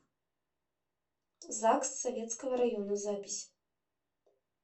загс советского района запись